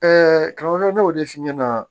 karamɔgɔ ne y'o de f'i ɲɛna